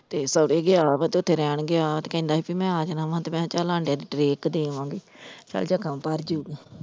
ਤੇ ਸੋਹਰੇ ਗਿਆ ਵਾ ਤੇ ਰਹਿਣ ਗਿਆ ਵਾ ਤੇ ਕਹਿੰਦਾ ਸੀ ਬੀ ਮੈਂ ਆ ਜਾਣਾ ਵਾ ਤੇ ਮੈਂ ਕਿਹਾ ਕਿਹਾ ਚੱਲ ਆਂਡਿਆਂ ਦੇ tray ਇੱਕ ਦੇ ਆਵਾਂਗੀ, ਚੱਲ ਜ਼ਖਮ ਜਾਊਗਾ।